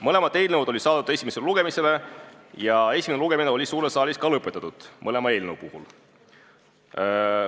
Mõlemad eelnõud saadeti esimesele lugemisele ja esimene lugemine sai mõlema eelnõu puhul suures saalis ka lõpetatud.